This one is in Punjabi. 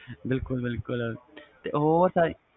ਬਿਲਕੁਲ ਬਿਲਕੁਲ ਉਹ ਤਾ